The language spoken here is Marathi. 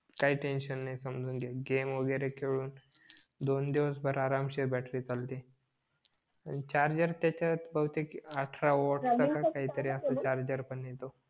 काही टेन्शन नाही समजून घे गेम वगैरे खेळून दोन दिवस भर आरामशीर बॅटरी चालते आणि चार्जेर त्याच्यात भौतेक अठरावॉल्ट चा काही तरी असेल